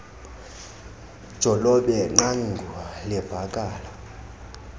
jolobe qanguie livakala